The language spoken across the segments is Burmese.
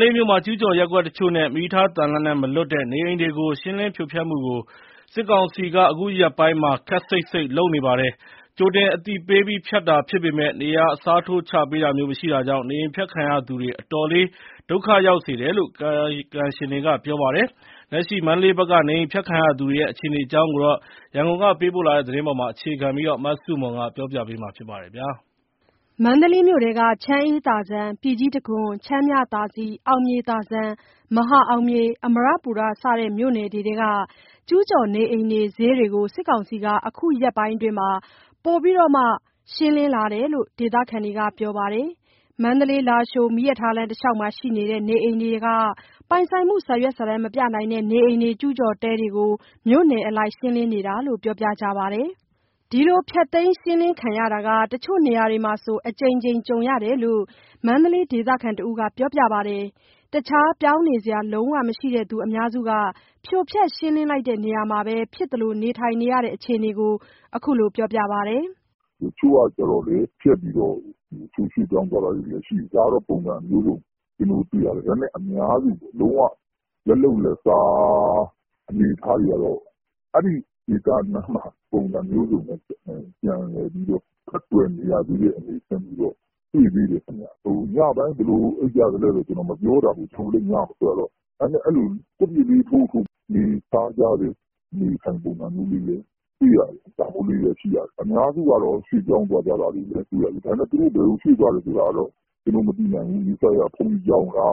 လေးမြို့မှာ ကျူးကျော်ရပ်ကွက်တချို့နဲ့ မီးရထားသံလမ်းနဲ့မလွတ်တဲ့ နေအိမ်တွေကို ရှင်းလင်းဖြိုဖျက်မှုကို စစ်ကောင်စီက အခုရက်ပိုင်းမှာ ခပ်စိပ်စိပ်လုပ်နေပါတယ်။ ကြိုတင်အသိပေးပြီးဖျက်တာဖြစ်ပေမဲ့ နေရာအစားထိုးချပေးထာမျိုးမရှိတာကြောင့် နေအိမ်ဖျက်ခံရသူတွေအတော်လေး ဒုက္ခရောက်စေတယ်လို့ ကာယကံရှင်တွေက ပြောပါတယ်။ လက်ရှိမန္တလေးဘက်က နေအိမ်ဖျက်ခံရသူတွေရဲ့ အခြေအနေအကြောင်း ရန်ကုန်ကပေးပို့တဲ့သတင်းကို မဆုမွန်က တင်ပြပေးထားပါတယ်။ မန္တလေးမြို့ထဲက ချမ်းအေးသာဇံ၊ ပြည်ကြီးတံခွန်၊ ချမ်းမြသာစည်၊ အောင်မြေသာဇံ၊ မဟာအောင်မြေ၊ အမရပူရ စတဲ့ မြို့နယ်တွေထဲက ကျုးကျော်နေအိမ်တွေ၊ ဈေးတွေကို စစ်ကောင်စီက အခုရက်ပိုင်း ပိုပြီး လုပ်လာတယ်လို့ ဒေသခံတွေက ပြောပါတယ်။ မန္တလေး-လားရှိုး မီးရထားလမ်းတလျှောက်မှာ ရှိနေတဲ့ နေအိမ်တွေထဲက ပိုင်ဆိုင်မှု စာရွက်စာတမ်းမပြနိုင်တဲ့ နေအိမ်တွေ၊ ကျူးကျော်တဲတွေကို မြို့နယ်အလိုက် ရှင်းလင်းနေတယ်လို့ ပြောပြကြပါတယ်။ ဒီလို ဖျက်သိမ်းရှင်းလင်းခံရတာက တချို့နေရာတွေမှာဆို အကြိမ်ကြိမ်ကြုံရတယ်လို့ မန္တလေးဒေသခံတဦးက ပြောပါတယ်။ တခြားပြောင်းနေစရာ လုံးဝမရှိတဲ့သူအများစုက ဖြိုဖျက်ရှင်းလင်းလိုက်တဲ့ နေရာမှာပဲ ဖြစ်သလိုနေ နေရတဲ့ အခြေအနေကို အခုလိုပြောပါတယ်။ "တချို့ကကျတော့လည်း ဖျက်ပြီးတော့ ရွှေ့ပြောင်းသွားတာလည်း ရှိတယ်။ ဒါကတော့ ပုံစံအမျိုးစုံတွေ့ရတယ်။ ဒါပေမဲ့ အများစု လုံးဝ လက်လုပ်လက်စား အနေအထားတွေကတော့ အဲဒီနေရာနားမှာပဲ ပုံစံမျိုးစုံနဲ့ ပြန်လည်ပြီးတော့ ဖက်တွယ်နေရတဲ့ အနေအထားမျိုးတော့ တွေ့သေးတယ်ခင်ဗျ။ ညပိုင်း ဘယ်လိုအိပ်ကြသလဲတော့ ကျနော်မပြောတတ်ဘူး။ ကျနော်တို့လည်းညမထွက်ရတော့။ ဒါပေမဲ့ ကွပ်ပျစ်လေးထိုးပြီး နေစားကြတဲ့အနေအထိုင်ပုံစံမျိုးလည်း တွေ့ရတယ်။ အများစုကတော့ ရွှေ့ပြောင်းသွားတာ တွေ့ရတယ်။ ဒါပေမဲ့ သူတို့ဘယ်ကို ရွှေ့ပြောင်းသွားလဲတော့ ကျနော်တို့ မသိနိုင်ဘူး။ နီးစပ်ရာ ဘုန်းကြီးကျောင်းလား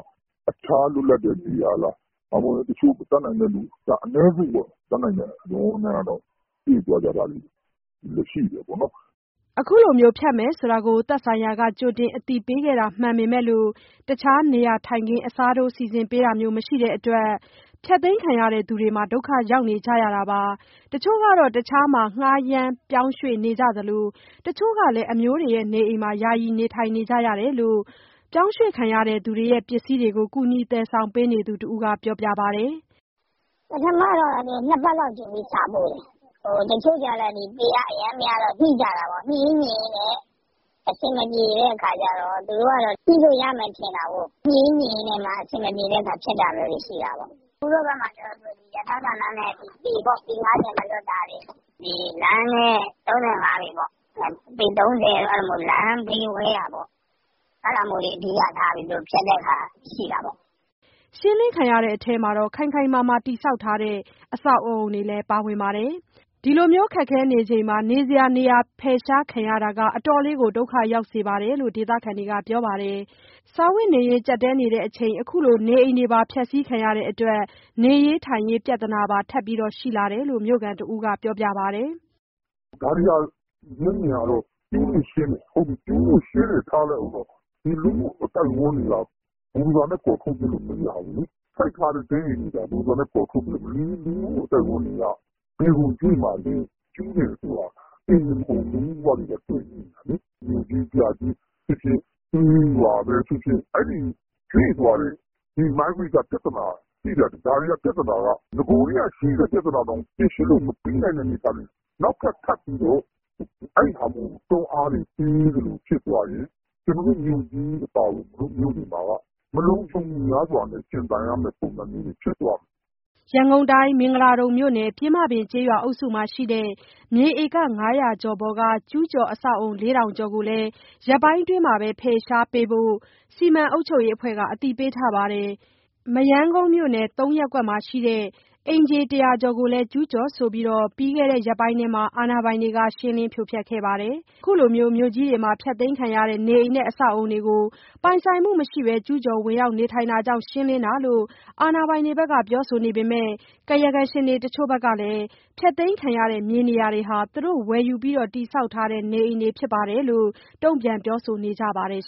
၊ တခြားလွတ်လပ်တဲ့ နေရာလား။ နောက် တတ်နိုင်တဲ့လူ အနည်းစုပေါ့၊ သူတို့ကလည်း ရွှေ့သွားကြတာ ရှိတယ်ပေါ့" ခုလိုဖျက်မယ်ဆိုတာကို သက်ဆိုင်ရာက ကြိုတင်အသိပေးခဲ့တာမှန်ပေမယ့် တခြားနေရာထိုင်ခင်းအစားထိုး စီစဉ်ပေးတာမျိုးမရှိကြတဲ့ အတွက် ဒုက္ခရောက်နေကြရတာပါ။ တချို့က တခြားမှာ ငှားရမ်းပြောင်းရွှေ့နေကြသလို တချို့ကလည်း အမျိုးအိမ်တွေမှာ ယာယီနေထိုင်နေကြတယ်လို့ ပစ္စည်းတွေကို ကူညီသယ်ဆောင်ပေးသူ တဦးကပြောပါတယ်။ "ပထမတော့ ၂ ပတ်လောက်ကြိုပြီး စာပို့တယ်။ တချို့ကျတော့လည်း ပေကအရမ်းများတော့ ညှိကြတာပေါ့။ သူတို့ကတော့ ညှိလို့ရမယ်ထင်တာပေါ့။ ညှိရင်းနဲ့ အဆင်မပြေတဲ့အခါကျတော့ ဖျက်တာမျိုးတွေ ရှိတာပေါ့။ ဦးတို့ ဘက်မှာကျတော့ ရထားသံလမ်းနဲ့ ပေ ၅၀ မလွတ်တာတွေ၊ လမ်းနဲ့ ၃၅ ပေ၊ ပေ ၃၀ လမ်းဘေးဝဲယာပေါ့။ အဲဒါမျိုးတွေ သူတို့အဓိထားပြီး ဖျက်တာမျိုးရှိတာပေါ့။" ရှင်းလင်းခံရတဲ့အထဲမှာ ခိုင်ခိုင်မာမာ တည်ဆောက်ထားတဲ့ အဆောက်အအုံတွေလည်း ပါဝင်ပါတယ်။ ဒီလို ခက်ခဲနေချိန်မှာ နေစရာနေရာ ဖယ်ရှားခံရတာက အတော်လေးဒုက္ခရောက်စေတယ်လို့ ဒေသခံတွေက ပြောပါတယ်။ စားဝတ်နေရေးကြပ်တည်းနေချိန် ခုလို နေအိမ်တွေ ဖျက်စီးခံရတဲ့အတွက် နေရေး ထိုင်ရေးပြဿနာပါ ထပ်ရှိလာတယ်လု့ိ မြို့ခံတဦးက ပြောပါတယ်။ "ဒါတွေက မျက်မြင်ကတော့ ကျူးတွေကိုရှင်းတယ်ပေါ့။ ကျူးတွေကိုရှင်းတယ် ထားလိုက်ဦးတော့ ဒီလူမှုအသိုက်အဝန်းတွေက ဘူဒိုဇာနဲ့ ကော်ထုတ်ပစ်လို့ မရဘူးလေ။ စိုက်ထားတဲ့တဲအိမ်တွေကိုသာ ဘူဒိုဇာနဲ့ ကော်ထုတ်လို့ရမယ်။ ဒီလူမှုအသိုက်အဝန်းတွေက ဘယ်ကိုရွှေ့မှာလဲ။ ကျူးတယ်ဆိုတာ အိမ်တင်မဟုတ်ဘူး၊ လူမှုဘဝတွေပါ တွယ်ငြိနေတာလေ။ မြို့ကြီးပြကြီးဖြစ်ဖြစ်၊ ကျေးရွာပဲဖြစ်ဖြစ် အဲဒီရွှေ့သွားတဲ့ ဒီရွှေ့ပြောင်းပြဿနာက ရှိတတ်တယ်။ ဒီဟာက နဂိုကတည်းကရှိတဲ့ ပြဿနာတောင် ဖြေရှင်းလို့မပြီးနိုင်တဲ့ အနေအထားတွေမှာ နောက်ထပ် ထပ်ပြီးတော့ အဲဒီဟာမျိုးကို ထပ်ပြီးတွန်းအားပေးသလို ဖြစ်သွားရင် ကျနော်တို့မြို့ကြီး အပါအဝင် မြို့တွေမှာက မလုံခြုံမှုများစွာနဲ့ ရှင်သန်ရမယ့် ပုံစံမျိုးတွေ ဖြစ်သွားမယ်။" ရန်ကုန်တိုင်း၊ မင်္ဂလာဒုံမြို့နယ်၊ ပျဉ်းမပင်ကျေးရွာ အုပ်စုမှာရှိတဲ့ မြေဧက ၅၀၀ ကျော်ပေါ်က ကျူးကျော်အဆောက် အအုံ ၄ ထောင်ကျော်ကိုလည်း ရက်ပိုင်းအတွင်း ဖယ်ရှားပေးဖို့ မြို့နယ် စီမံအုပ်ချုပ်ရေးအဖွဲ့က အသိပေးထားပါတယ်။ မရမ်းကုန်းမြို့နယ်၊ ၃ ရပ်ကွက်မှာရှိတဲ့ အိမ်ခြေ ၁၀၀ ကျော်ကိုလည်း ကျူးကျော်ဆိုပြီး ပြီးခဲ့တဲ့ ရက်ပိုင်းထဲမှာ အာဏာပိုင်တွေက ရှင်းလင်းဖြိုဖျက်ခဲ့ပါတယ်။ အခုလို မြို့ကြီးတွေမှာ ဖျက်သိမ်းခံရတဲ့ နေအိမ်နဲ့ အဆောက်အအုံတွေကို ပိုင်ဆိုင်မှုမရှိဘဲ ကျူးကျော်ဝင်ရောက်တာကြောင့် ရှင်းလင်းတာလို့ အာဏာပိုင်တွေဘက်က ပြောပေမဲ့ ကာယကံရှင်တချို့ကလည်း ဖျက်သိမ်းခံရတဲ့ မြေနေရာတွေဟာ သူတို့ဝယ်ယူပြီး တည်ဆောက်ထားတဲ့ နေအိမ်တွေဖြစ်တယ်လို့ တုံ့ပြန်ပြောဆိုနေကြပါတယ်